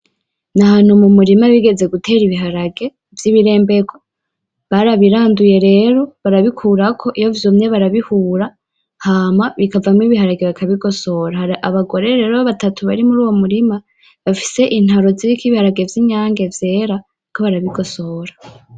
Ni ahantu mu murima bigeze gutera ibiharage vy'ibirembegwa barabiranduye rero barabikurako iyo vyumye barabihura hama bikavamwo ibiharage bakabigosora hari abagore rero batatu bari muruyo murima bafise intaro ziriko ibiharage vyinyange vyera bariko barabigosora.